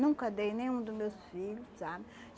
Nunca dei nenhum do meus filhos, sabe?